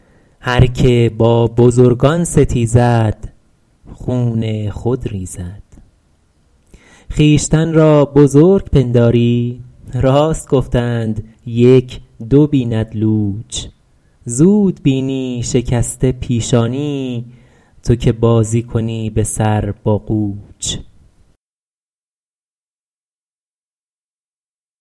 هرکه با بزرگان ستیزد خون خود ریزد خویشتن را بزرگ پنداری راست گفتند یک دو بیند لوچ زود بینی شکسته پیشانی تو که بازی کنی به سر با قوچ